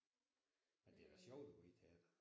Men det er da sjovt at gå i teateret